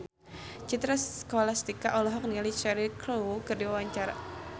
Citra Scholastika olohok ningali Cheryl Crow keur diwawancara